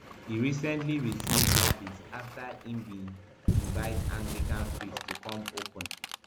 e recently receive yabis afta im bin invite anglican priest to come open